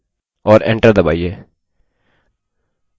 और enter दबाइए